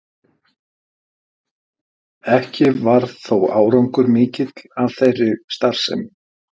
Ekki varð þó árangur mikill af þeirri starfsemi.